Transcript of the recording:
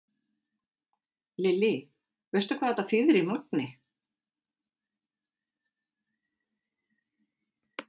Lillý: Veistu hvað þetta þýðir í magni?